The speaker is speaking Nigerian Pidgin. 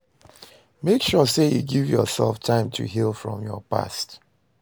Make sure say you give yourself time to heal from your past